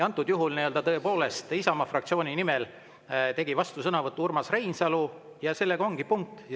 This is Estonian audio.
Antud juhul tegi Isamaa fraktsiooni nimel vastusõnavõtu Urmas Reinsalu ja sellega ongi, punkt.